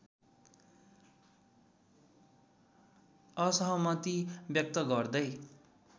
असहमति व्यक्त गर्दै